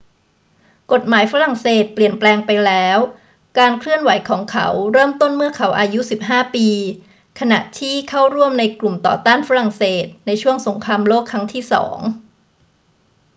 กฎหมายฝรั่งเศสเปลี่ยนแปลงไปแล้ว การเคลื่อนไหวของเขาเริ่มต้นเมื่อเขาอายุ 15 ปี ขณะที่เข้าร่วมในกลุ่มต่อต้านฝรั่งเศสในช่วงสงครามโลกครั้งที่สอง